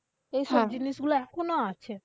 এই সব জিনিসগুলো এখনো আছে।